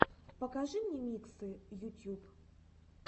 покажи мне миксы ютьюб